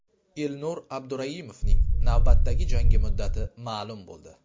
Elnur Abduraimovning navbatdagi jangi muddati ma’lum bo‘ldi.